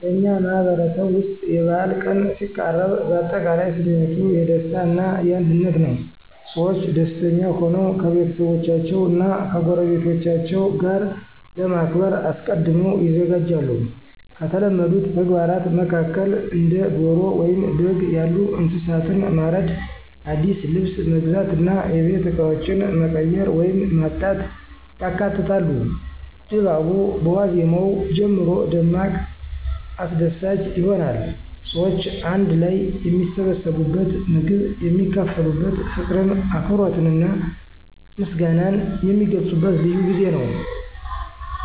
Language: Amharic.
በእኛ ማህበረሰብ ውስጥ የበዓል ቀን ሲቃረብ አጠቃላይ ስሜቱ የደስታ እና የአንድነት ነው። ሰዎች ደስተኛ ሆነው ከቤተሰቦቻቸው እና ከጎረቤቶቻቸው ጋር ለማክበር አስቀድመው ይዘጋጃሉ። ከተለመዱት ተግባራት መካከል እንደ ዶሮ ወይም በግ ያሉ እንስሳትን ማረድ፣ አዲስ ልብስ መግዛት እና የቤት እቃዎችን መቀየር ወይም ማጽዳት ያካትታሉ። ድባቡ በዋዜማው ጀምሮ ደማቅ አስደሳች ይሆናል። ሰዎች አንድ ላይ የሚሰባሰቡበት፣ ምግብ የሚካፈሉበት፣ ፍቅርን፣ አክብሮትንና ምስጋናን የሚገልጹበት ልዩ ጊዜ ነው።